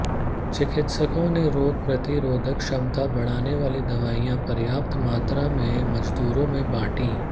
चिकित्सकों ने रोग प्रतिरोधक क्षमता बढ़ाने वाली दवाएं पर्याप्त मात्रा में मजदूरों में बांटी